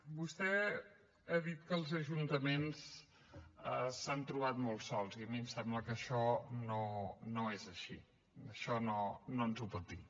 vostè ha dit que els ajuntaments s’han trobat molt sols i a mi em sembla que això no és així això no ens ho pot dir